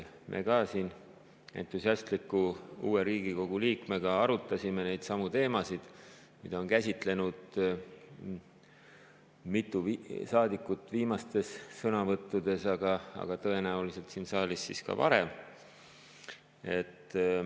Me ka siin entusiastliku uue Riigikogu liikmega arutasime neidsamu teemasid, mida on käsitlenud mitu saadikut viimastes sõnavõttudes, aga tõenäoliselt siin saalis ka varem.